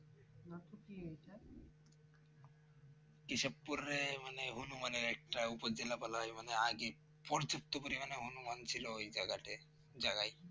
কেশবপুর এ মানে হনুমানের একটা উপজেলা বলা হয় মানে আগে পর্যাপ্ত পরিমাণে হনুমান ছিল। ওই জায়গাতে জাগায়